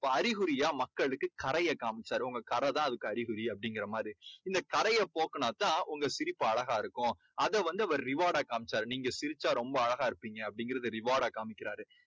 அறிகுறியா மக்களுக்கு கறையை காமிச்சாரு. உங்க கறை தான் அதுக்கு அறிகுறி அப்படிங்கிற மாதிரி. இந்த கறையை போக்கினா தான் அந்த சிரிப்பு அழகா இருக்கும். அதை வந்து அவரு reward டா காமிச்சாரு. நீங்க சிரிச்சா ரொம்ப அழகா இருப்பீங்க அப்படீங்கறத அவர் reward டா காமிக்கிறாரு.